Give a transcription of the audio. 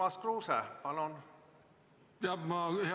Urmas Kruuse, palun!